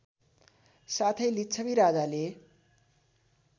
साथै लिच्छवी राजाले